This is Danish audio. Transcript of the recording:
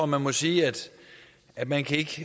man må sige at man ikke